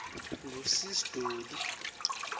ngu sis dolly